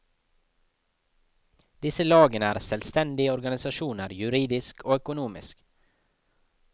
Disse lagene er selvstendige organisasjoner, juridisk og økonomisk.